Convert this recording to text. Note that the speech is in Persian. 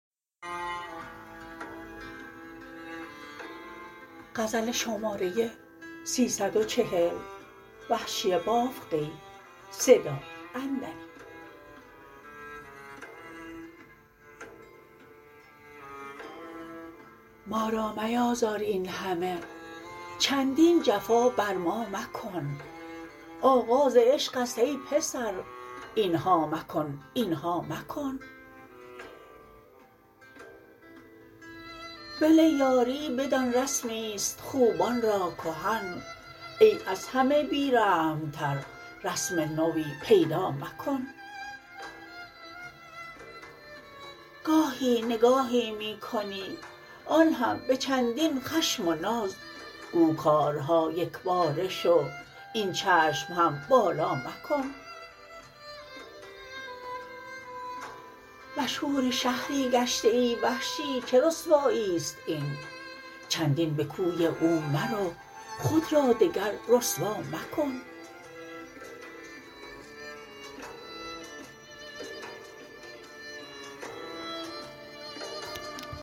ما را میازار اینهمه چندین جفا بر ما مکن آغاز عشق است ای پسر اینها مکن اینها مکن ول یاری بدان رسمی ست خوبان را کهن ای از همه بی رحم تر رسم نوی پیدا مکن گاهی نگاهی می کنی آن هم به چندین خشم و ناز گو کارها یکباره شو این چشم هم بالا مکن مشهور شهری گشته ای وحشی چه رسوایی ست این چندین به کوی او مرو خود را دگر رسوا مکن